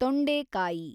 ತೊಂಡೆಕಾಯಿ